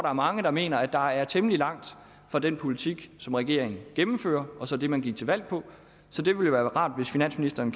er mange der mener at der er temmelig langt fra den politik som regeringen gennemfører og så til den man gik til valg på så det ville være rart hvis finansministeren